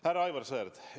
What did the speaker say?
Härra Aivar Sõerd!